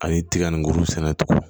A ye tiga nin kuru sɛnɛ tugun